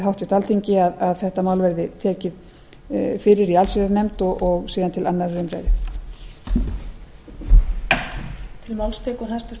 háttvirta alþingi að þetta mál verði tekið fyrir í allsherjarnefnd og síðan til annarrar umræðu